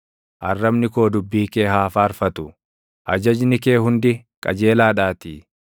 Arrabni koo dubbii kee haa faarfatu; ajajni kee hundi qajeelaadhaatii.